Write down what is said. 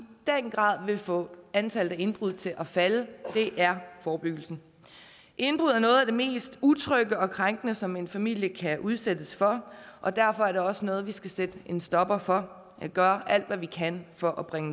den grad vil få antallet af indbrud til at falde er forebyggelsen indbrud er noget af det mest utrygge og krænkende som en familie kan udsættes for og derfor er det også noget vi skal sætte en stopper for og gøre alt hvad vi kan for at bringe